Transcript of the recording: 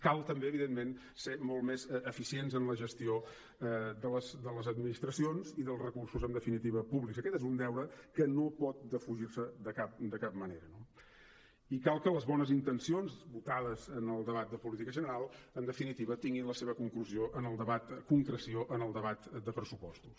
cal també evidentment ser molt més eficients en la gestió de les administracions i dels recursos en definitiva públics aquest és un deure que no pot defugir se de cap manera no i cal que les bones intencions votades en el debat de política general en definitiva tinguin la seva concreció en el debat de pressupostos